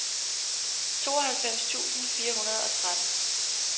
tooghalvfems tusind fire hundrede og tretten